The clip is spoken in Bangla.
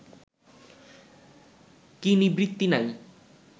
কি নিবৃত্তি নাই